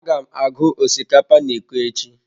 Aga m agụ osikapa na iko echi.